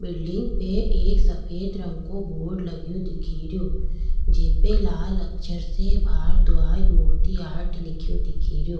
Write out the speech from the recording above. Building पे एक सफ़ेद रंग को बोर्ड लग्यो दिखेरों जेपी लाल अक्षर से भरद्वाज मूर्ति आर्ट लिख्यो दिखेरो।